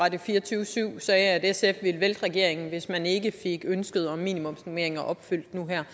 radio24syv sagde at sf ville vælte regeringen hvis man ikke fik ønsket om minimumsnormeringer opfyldt